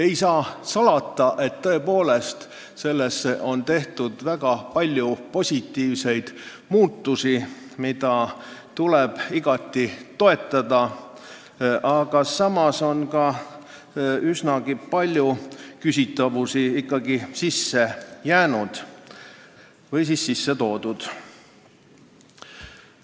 Ei saa salata, tõepoolest, selles on tehtud väga palju positiivseid muudatusi, mida tuleb toetada, aga samas on üsna palju küsitavusi ikkagi sinna ka sisse jäänud või siis sisse toodud.